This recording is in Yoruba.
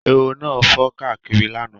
Ehoro náà fò káàkiri lánàá.